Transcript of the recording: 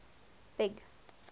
big